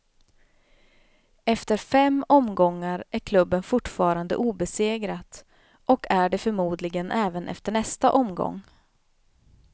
Efter fem omgångar är klubben fortfarande obesegrat, och är det förmodligen även efter nästa omgång.